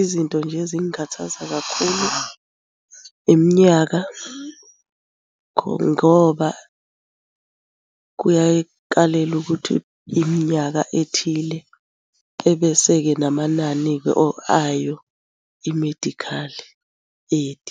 Izinto nje ezingikhathaza kakhulu, iminyaka ngoba kuyaye kukalelwe ukuthi iminyaka ethile ebese-ke namanani-ke or ayo i-medical aid